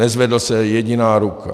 Nezvedla se jediná ruka.